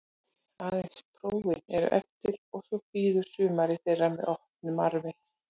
Aðeins prófin eru eftir og svo bíður sumarið þeirra með opinn faðminn.